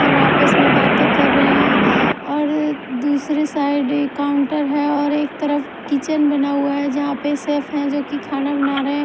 और आपस में बातें कर रहे हैं और दूसरे साइड काउंटर है और एक तरफ किचन बना हुआ है जहाँ पर शेफ है जो कि खाना बना रहे हैं ।